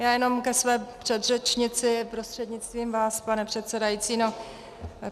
Já jenom ke své předřečnici prostřednictvím vás, pane předsedající.